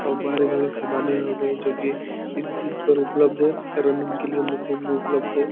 और भारी-भारी सामाने हो गई जो कि इस जिम पर उपलध है रनिंग के लिए मशीन भी उपलब्ध है।